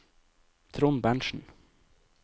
Trond Berntzen